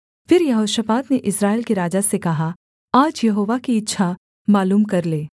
फिर यहोशापात ने इस्राएल के राजा से कहा आज यहोवा की इच्छा मालूम कर ले